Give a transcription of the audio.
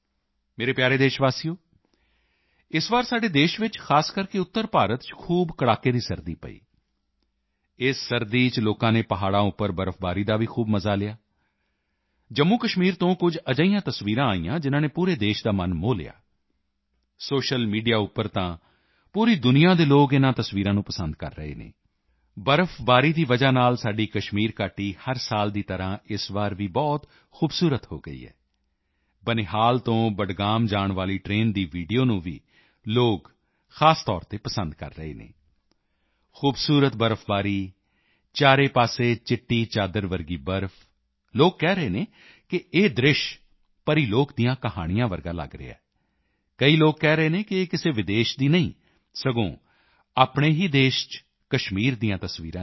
ਮੇਰੇ ਪਿਆਰੇ ਦੇਸ਼ਵਾਸੀਓ ਇਸ ਵਾਰ ਸਾਡੇ ਦੇਸ਼ ਚ ਖ਼ਾਸ ਕਰਕੇ ਉੱਤਰ ਭਾਰਤ ਚ ਖੂਬ ਕੜਾਕੇ ਦੀ ਸਰਦੀ ਪਈ ਇਸ ਸਰਦੀ ਚ ਲੋਕਾਂ ਨੇ ਪਹਾੜਾਂ ਉੱਪਰ ਬਰਫ਼ਬਾਰੀ ਦਾ ਵੀ ਖੂਬ ਮਜ਼ਾ ਲਿਆ ਜੰਮੂਕਸ਼ਮੀਰ ਤੋਂ ਕੁਝ ਅਜਿਹੀਆਂ ਤਸਵੀਰਾਂ ਆਈਆਂ ਜਿਨ੍ਹਾਂ ਨੇ ਪੂਰੇ ਦੇਸ਼ ਦਾ ਮਨ ਮੋਹ ਲਿਆ ਸੋਸ਼ਲ ਮੀਡੀਆ ਉੱਪਰ ਤਾਂ ਪੂਰੀ ਦੁਨੀਆ ਦੇ ਲੋਕ ਇਨ੍ਹਾਂ ਤਸਵੀਰਾਂ ਨੂੰ ਪਸੰਦ ਕਰ ਰਹੇ ਹਨ ਬਰਫ਼ਬਾਰੀ ਦੀ ਵਜ੍ਹਾ ਨਾਲ ਸਾਡੀ ਕਸ਼ਮੀਰ ਘਾਟੀ ਹਰ ਸਾਲ ਦੀ ਤਰ੍ਹਾਂ ਇਸ ਵਾਰ ਵੀ ਬਹੁਤ ਖੂਬਸੂਰਤ ਹੋ ਗਈ ਹੈ ਬਨਿਹਾਲ ਤੋਂ ਬਡਗਾਮ ਜਾਣ ਵਾਲੀ ਟ੍ਰੇਨ ਦੀ ਵੀਡੀਓ ਨੂੰ ਵੀ ਲੋਕ ਖ਼ਾਸ ਤੌਰ ਤੇ ਪਸੰਦ ਕਰ ਰਹੇ ਹਨ ਖੂਬਸੂਰਤ ਬਰਫ਼ਬਾਰੀ ਚਾਰੇ ਪਾਸੇ ਚਿੱਟੀ ਚਾਦਰ ਜਿਹੀ ਬਰਫ਼ ਲੋਕ ਕਹਿ ਰਹੇ ਹਨ ਕਿ ਇਹ ਦ੍ਰਿਸ਼ ਪਰੀਲੋਕ ਦੀਆਂ ਕਹਾਣੀਆਂ ਵਰਗਾ ਲਗ ਰਿਹਾ ਹੈ ਕਈ ਲੋਕ ਕਹਿ ਰਹੇ ਹਨ ਕਿ ਇਹ ਕਿਸੇ ਵਿਦੇਸ਼ ਦੀ ਨਹੀਂ ਬਲਕਿ ਆਪਣੇ ਹੀ ਦੇਸ਼ ਚ ਕਸ਼ਮੀਰ ਦੀਆਂ ਤਸਵੀਰਾਂ ਹਨ